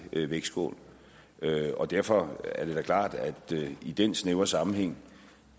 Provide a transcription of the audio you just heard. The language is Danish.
vægtskål og derfor er det da klart at det i den snævre sammenhæng